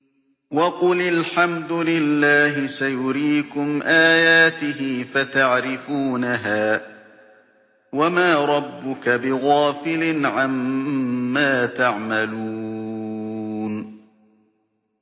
وَقُلِ الْحَمْدُ لِلَّهِ سَيُرِيكُمْ آيَاتِهِ فَتَعْرِفُونَهَا ۚ وَمَا رَبُّكَ بِغَافِلٍ عَمَّا تَعْمَلُونَ